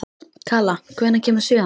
Kala, hvenær kemur sjöan?